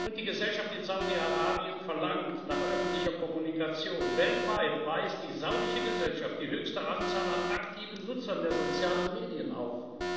Die Gesellschaft in Saudi Arabien verlangt nach öffentlicher Kommunikation Weltweit weist die saudische Gesellschaft die höchste Anzahl an aktiven Nutzern der sozialen Medien auf.